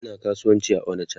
Ina kasuwanci a onicha